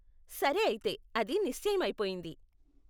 సరే అయితే, అది నిశ్చయం అయిపొయింది.